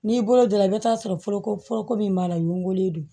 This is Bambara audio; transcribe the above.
N'i bolo don i bi taa sɔrɔ foroko foroko min b'a la ɲugulen don